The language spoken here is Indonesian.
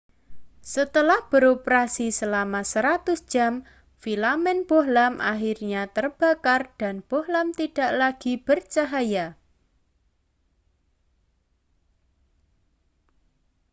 setelah beroperasi selama ratusan jam filamen bohlam akhirnya terbakar dan bohlam tidak lagi bercahaya